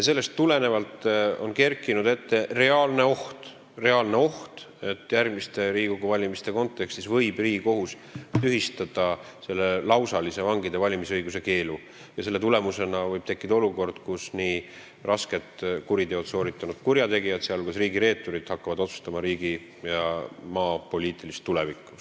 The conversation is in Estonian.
Sellepärast on kerkinud reaalne oht, et Riigikogu järgmiste valimiste kontekstis võib Riigikohus tühistada selle lausalise vangide valimisõiguse keelu, ning võib tekkida olukord, kus raskeid kuritegusid sooritanud kurjategijad, sh riigireeturid, hakkavad otsustama riigi ja maa poliitilise tuleviku üle.